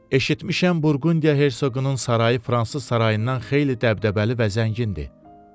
Eşitmişəm Burqundiya hersoqunun sarayı fransız sarayından xeyli dəbdəbəli və zəngindir.